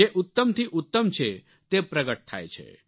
જે ઉત્તમ થી ઉત્તમ છે તે પ્રગટ થાય છે